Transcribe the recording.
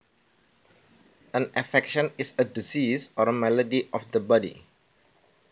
An affection is a disease or malady of the body